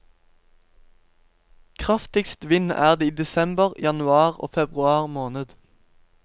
Kraftigst vind er det i desember, januar og februar måned.